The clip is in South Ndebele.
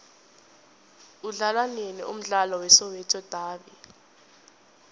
udlalwanini umdlalo we soweto davi